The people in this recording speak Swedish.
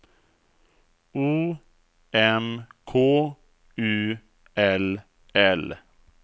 O M K U L L